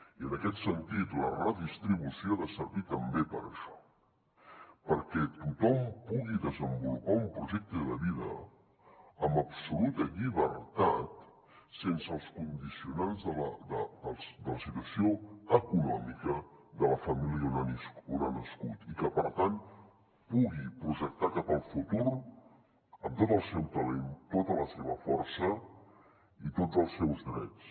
i en aquest sentit la redistribució ha de servir també per això perquè tothom pugui desenvolupar un projecte de vida amb absoluta llibertat sense els condicionants de la situació econòmica de la família on ha nascut i que per tant pugui projectar cap al futur amb tot el seu talent tota la seva força i tots els seus drets